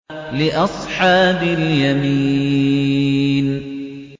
لِّأَصْحَابِ الْيَمِينِ